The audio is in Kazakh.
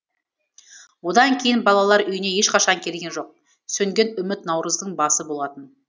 одан кейін балалар үйіне ешқашан келген жоқ сөнген үміт наурыздың басы болатын